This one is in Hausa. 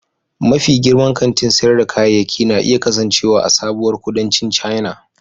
Mafi girman kantin sayar da kayayyaki na iya kasancewa a sabuwar kudancin China.